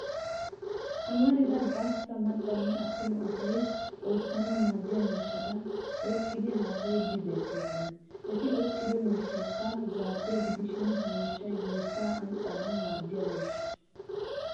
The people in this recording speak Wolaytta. Amarida gastta maccanne attuma asay oottanawu maaddiya miishshata oyqqidi haasayiddi beettoosona. Eti oyqqido miishshaykka zaabbiya gidishin ha mishshay biittaa anccanawu maaddiya miishsha.